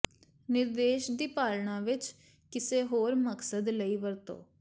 ਨਿਰਦੇਸ਼ ਦੀ ਪਾਲਣਾ ਵਿੱਚ ਕਿਸੇ ਹੋਰ ਮਕਸਦ ਲਈ ਵਰਤੋ